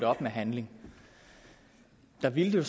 op med handling der ville det